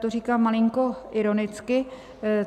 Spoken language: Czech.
To říkám malinko ironicky.